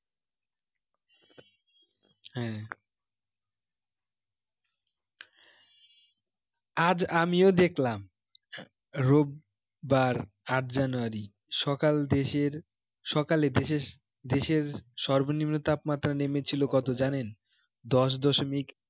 আজ আমিও দেখলাম রোববার আট january সকাল দেশের সকালে দেশের সর্বনিম্ন তাপমাত্রা নেমেছিল কত জানেন? দশ দশমিক